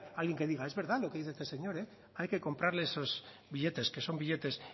alguien que diga es verdad lo que dice este señor hay que comprarle esos billetes que son billetes